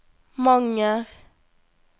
Manger